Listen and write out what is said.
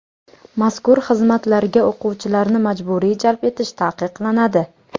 Mazkur xizmatlarga o‘quvchilarni majburiy jalb etish taqiqlanadi.